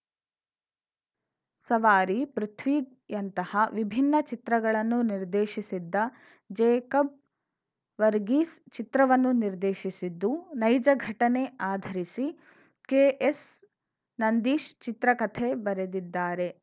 ಸವಾರಿ ಪೃಥ್ವಿಯಂತಹ ವಿಭಿನ್ನ ಚಿತ್ರಗಳನ್ನು ನಿರ್ದೇಶಿಸಿದ್ದ ಜೇಕಬ್‌ ವರ್ಗೀಸ್‌ ಚಿತ್ರವನ್ನು ನಿರ್ದೇಶಿಸಿದ್ದು ನೈಜ ಘಟನೆ ಆಧರಿಸಿ ಕೆಎಸ್‌ನಂದೀಶ್‌ ಚಿತ್ರಕಥೆ ಬರೆದಿದ್ದಾರೆ